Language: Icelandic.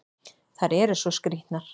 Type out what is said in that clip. Þær eru svo skrýtnar!